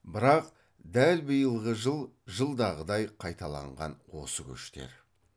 бірақ дәл биылғы жыл жылдағыдай қайталаған осы көштер